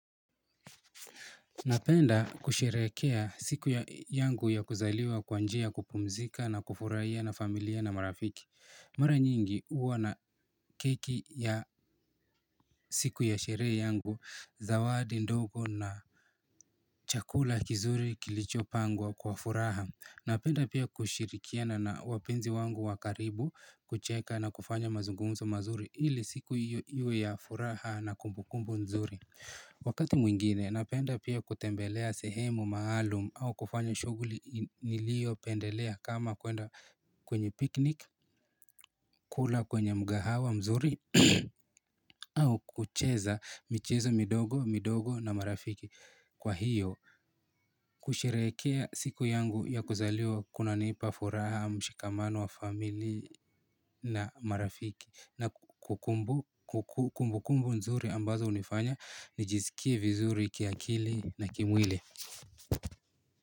Napenda kusherehekea siku yangu ya kuzaliwa kwa njia ya kupumzika na kufurahia na familia na marafiki. Mara nyingi huwa na keki ya siku ya sherehe yangu, zawadi ndogo na chakula kizuri kilichopangwa kwa furaha. Napenda pia kushirikiana na wapenzi wangu wa karibu kucheka na kufanya mazungumzo mazuri ili siku hiyo ya furaha na kumbukumbu nzuri Wakati mwingine napenda pia kutembelea sehemu maalum au kufanya shughuli niliopendelea kama kwenda kwenye picnic, kula kwenye mkahawa mzuri au kucheza michezo midogo, midogo na marafiki. Kwa hiyo kusherehekea siku yangu ya kuzaliwa kunanipa furaha mshikamano wa familia na marafiki na kukumbu kukumbu nzuri ambazo hunifanya nijizikie vizuri kiakili na kimwili.